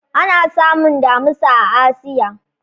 Ana samun Damusa a Asiya.